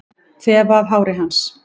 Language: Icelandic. Þefa af hári hans.